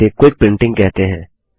इसे quick printing कहते हैं